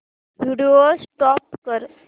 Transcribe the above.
video stop कर